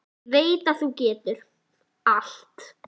Ég veit að þú getur allt.